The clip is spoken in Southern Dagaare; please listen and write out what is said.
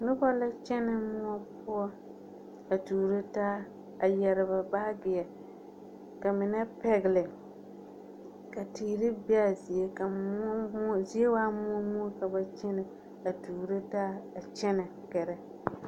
Noba la kyɛnɛ mõɔ poɔ a tuuro taa a yɛre ba baageɛ ka mine pɛgele. Ka teere be a zie, ka mõɔ mõɔ zie waa mõɔ mõɔ ka ba kyɛnɛ a tuuro taa a kyɛnɛ gɛrɛ.